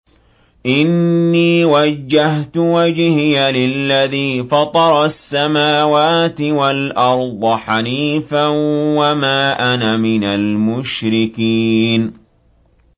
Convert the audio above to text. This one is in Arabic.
إِنِّي وَجَّهْتُ وَجْهِيَ لِلَّذِي فَطَرَ السَّمَاوَاتِ وَالْأَرْضَ حَنِيفًا ۖ وَمَا أَنَا مِنَ الْمُشْرِكِينَ